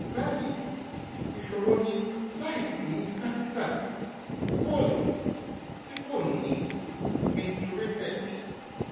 bayi iṣoro ni laisi catheter coul ti ko ni micturated